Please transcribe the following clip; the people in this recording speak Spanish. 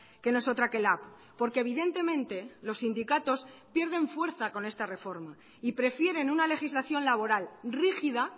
que no es otra que lab porque evidentemente los sindicatos pierden fuerza con esta reforma y prefieren una legislación laboral rígida